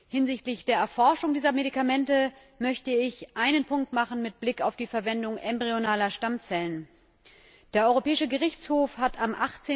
Hinsichtlich der Erforschung dieser Medikamente möchte ich einen Punkt machen mit Blick auf die Verwendung embryonaler Stammzellen Der Europäische Gerichtshof hat am